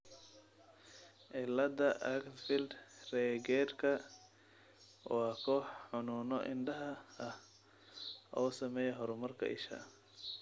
cilada Axenfeld Riegerka waa koox xanuuno indhaha ah oo saameeya horumarka isha.